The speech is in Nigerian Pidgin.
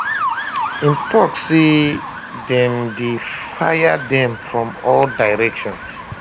im tok say dem dey fire dem from all directions